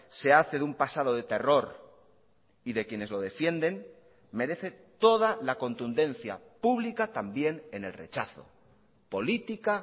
se hace de un pasado de terror y de quienes lo defienden merece toda la contundencia pública también en el rechazo política